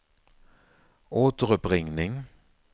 återuppringning